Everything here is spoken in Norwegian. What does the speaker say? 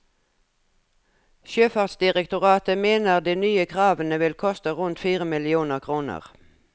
Sjøfartsdirektoratet mener de nye kravene vil koste rundt fire millioner kroner.